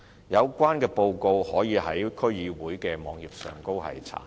有關報告可於區議會的網頁上查閱。